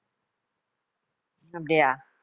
அப்படியா